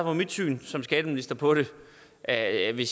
er mit syn som skatteminister på det at vi